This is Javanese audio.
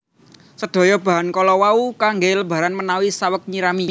Sedaya bahan kala wau kanggè lambaran menawi saweg nyirami